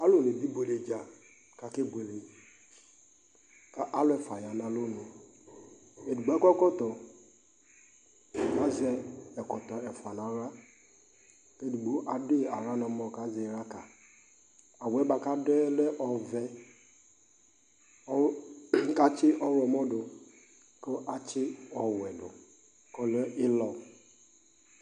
Alʋnɩ dʋ ibuele dza kʋ akebuele kʋ alʋ ɛfʋa ya nʋ alɔnu Edigbo akɔ ɛkɔtɔ kʋ azɛ ɛkɔtɔ ɛfʋa nʋ aɣla kʋ edigbo adʋ yɩ aɣla nʋ ɛmɔ kʋ azɛ ɩɣla ka yɩ Awʋ yɛ bʋa kʋ adʋ yɛ lɛ ɔvɛ kʋ atsɩ ɔɣlɔmɔ dʋ kʋ atsɩ ɔwɛ dʋ kʋ ɔlɛ ɩlɔ